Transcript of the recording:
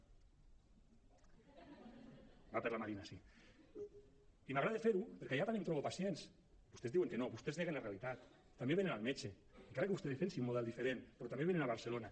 va per la marina sí allà també em trobo pacients vostès diuen que no vostès neguen la realitat també venen al metge encara que vostè defensi un model diferent però també venen a barcelona